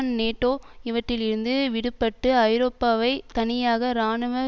NATO இவற்றிலிருந்து விடுபட்டு ஐரோப்பாவைத் தனியாக இராணுவ